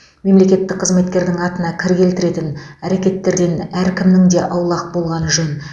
мемлекеттік қызметкердің атына кір келтіретін әрекеттерден әркімнің де аулақ болғаны жөн